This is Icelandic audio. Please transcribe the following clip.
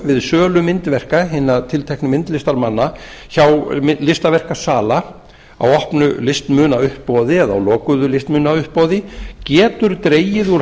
við sölu myndverka hinna tilteknu myndlistarmanna hjá listaverkasala á opnu listmunauppboði eða á lokuðu listmunauppboði getur dregið úr